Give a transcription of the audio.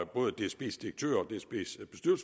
både dsb’s direktør